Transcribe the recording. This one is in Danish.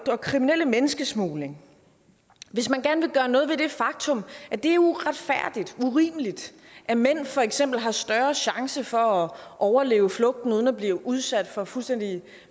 og kriminelle menneskesmugling hvis man gerne vil gøre noget ved det faktum at det er uretfærdigt urimeligt at mænd for eksempel har større chance for at overleve flugten uden at blive udsat for fuldstændig